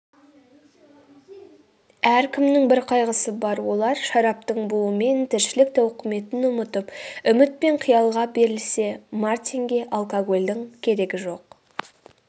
әркімнің бір қайғысы бар олар шараптың буымен тіршілік тауқыметін ұмытып үміт пен қиялға берілсе мартинге алкогольдің керегі жоқ